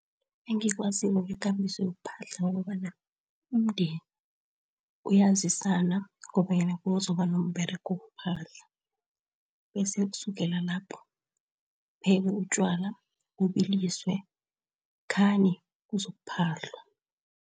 Engikwaziko ngekambiso yokuphahla ukobana umndeni uyazisana kobanyana kuzoba nomberego wokuphahla. Bese kusukela lapho kuphekwe utjwala, bubilisiwe khani kuzokuphahlwa.